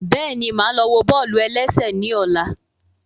Bẹ́ẹ̀ni, máa lọ wo bọ́ọ̀lù-ẹlẹ́sẹ̀ ní ọ̀la